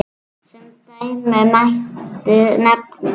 Sem dæmi mætti nefna